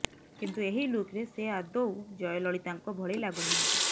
କିନ୍ତୁ ଏହି ଲୁକ୍ରେ ସେ ଆଦୌ ଜୟଲଳିତାଙ୍କ ଭଳି ଲାଗୁ ନାହାନ୍ତି